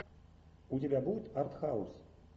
у тебя будет артхаус